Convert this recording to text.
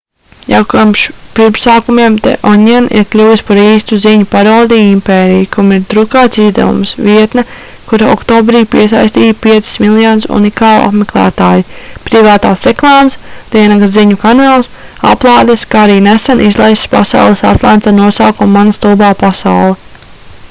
jau kopš pirmsākumiem the onion ir kļuvis par īstu ziņu parodiju impēriju kam ir drukāts izdevums vietne kura oktobrī piesaistīja 5 000 000 unikālu apmeklētāju privātās reklāmas diennakts ziņu kanāls aplādes kā arī nesen izlaists pasaules atlants ar nosaukumu mana stulbā pasaule